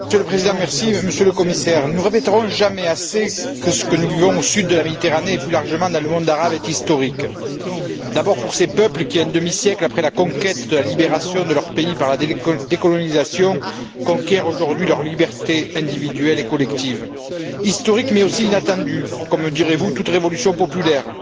Monsieur le Président, Monsieur le Commissaire, nous ne répéterons jamais assez que ce que nous vivons au sud de la Méditerranée et, plus largement, dans le monde arabe, est historique, d'abord pour ces peuples qui, un demi siècle après la conquête de la libération de leur pays par la décolonisation, conquièrent aujourd'hui leur liberté individuelle et collective. Historique, mais aussi inattendu, comme, me direz vous, toute révolution populaire.